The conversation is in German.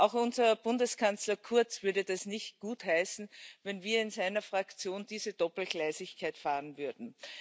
Auch unser Bundeskanzler Kurz würde es nicht gutheißen, wenn wir in seiner Fraktion diese Doppelgleisigkeit fahren würden.